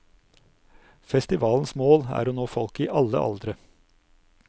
Festivalens mål er å nå folk i alle aldre.